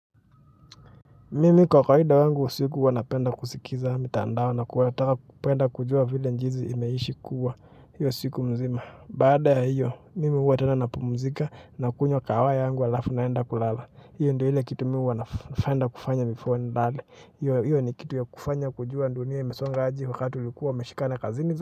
Mimi kwa kawaida wangu usiku huwa napenda kusikiza mitandao na kutaka kupenda kujua vile jinsi imeishi kuwa hiyo siku mzima baada ya hiyo mimi huwa tena napumzika nakunywa kahawa yangu halafu naenda kulala hiyo ndo ile kitu mimi huwa napenda kufanya before nilale hiyo hiyo ni kitu ya kufanya kujua dunia imesonga aje wakati ulikuwa umeshikana kazini.